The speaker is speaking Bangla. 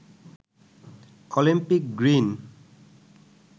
Olympic green